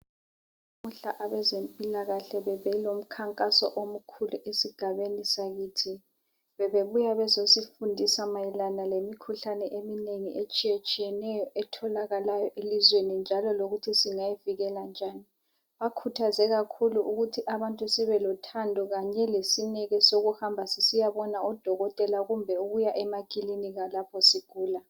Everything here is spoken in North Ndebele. Namuhla abezempilakahle bebe lomkhankaso Omkhulu esigabeni sakithi. Bebebuya bezosifundisa mayilana lemikhuhlane eminengi etshiyetshiyeneyo etholakalayo elizweni njalo lokuthi singayivikela njani. Bakhuthaze kakhulu ukuthi babantu sibelothando kanye lesineke sokuhamba sisiya bona odokotela kumbe ukuya emakilinika lapho sigula.